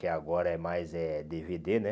Que agora é mais é dê vê dê, né?